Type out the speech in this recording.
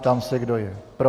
Ptám se, kdo je pro.